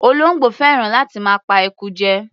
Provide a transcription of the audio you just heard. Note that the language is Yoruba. Olóńgbò fẹ́ràn láti máa pa eku jẹ.